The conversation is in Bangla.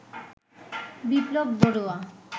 বিপ্লব বড়ুয়া